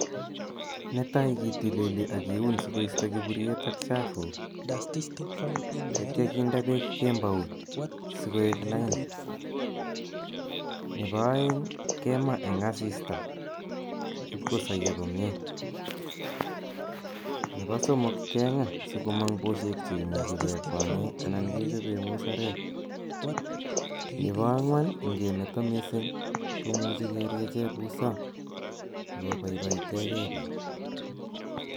Netaii kitilili ak kiun sikoisto kiburiet ak chafuk yeityo kinde beek kemout sikoik lain, nebo oeng kemaa en asista iib kosoyo komiee, nebo somok keng'aa sikomong bushek cheimuchi kekwang'en anan kechoben musarek, nebo ang'wan ing'emeto mising komuchi keriechen busaa sikobaibaiteng'e biik.